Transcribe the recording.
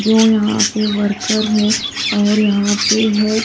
जो यहां पे वर्कर है और यहां पे है--